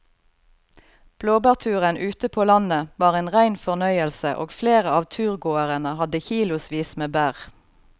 Blåbærturen ute på landet var en rein fornøyelse og flere av turgåerene hadde kilosvis med bær.